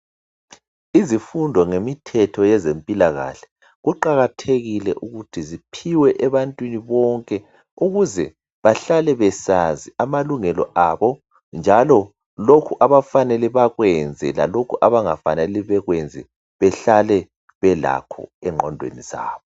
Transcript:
Izifundo ngemithetho yezempilakahle kuqakathekile ukuthi ziphiwe ebantwini bonke ukuze behlale besaz amalungelo abonjalolokhu abafanele bekwenze lalolkho okumele bangakwenzi behlale belakho entondweni zabo